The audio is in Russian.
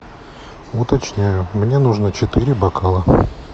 уточняю мне нужно четыре бокала